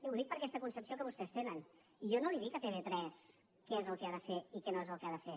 ho dic per aquesta concepció que vostès tenen jo no dic a tv3 què és el que ha de fer i què és el que no ha de fer